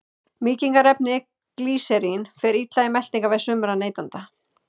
Mýkingarefnið glýserín fer illa í meltingarveg sumra neytenda.